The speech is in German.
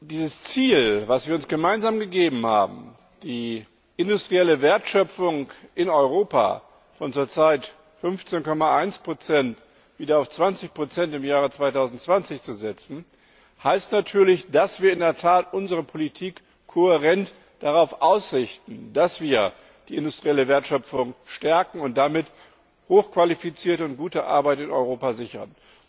Dieses Ziel, das wir uns gemeinsam gesetzt haben, die industrielle Wertschöpfung in Europa von zurzeit 15,1 im Jahr 2020 wieder auf 20 zu steigern, heißt natürlich, dass wir in der Tat unsere Politik kohärent darauf ausrichten, dass wir die industrielle Wertschöpfung stärken und damit hochqualifizierte und gute Arbeit in Europa sichern.